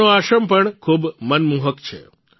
તેમનો આશ્રમ પણ ખૂબ મનમોહક છે